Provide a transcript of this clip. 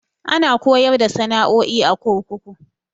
Ana koyar da sana'o'i a kurkuku.